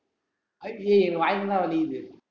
அய்~யோ ஏய் வாய் full ல வலிக்குது